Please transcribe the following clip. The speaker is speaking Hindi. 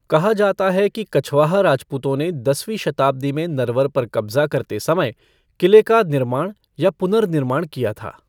कहा जाता है कि कछवाहा राजपूतों ने दसवीं शताब्दी में नरवर पर कब्ज़ा करते समय क़िले का निर्माण या पुनर्निर्माण किया था।